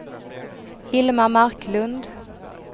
Hilma Marklund